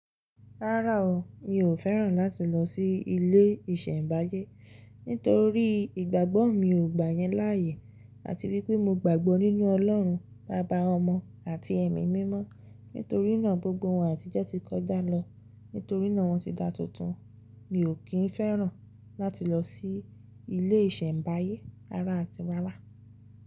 Rárá o, mi ò fẹ́ràn láti lọ sí ilé ìsẹ̀mbáyé nítorí ìgbàgbọ́ mi ò gbà yẹn láàyè àti wípé mo gbàgbọ́ nínú Ọlọ́run, baba ọmọ àti ẹ̀mí mímọ́. Nítorí náà gbogbo wọn àtijọ́ ti kọjá lọ, nítorí náà wọ́n ti da tuntun. Mi ò kí ń fẹ́ràn láti lọ sí ilé ìsẹ̀mbáyé rara àti rárá.